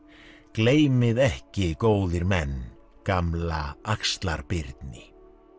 gleymið ekki góðir menn gamla axlar Birni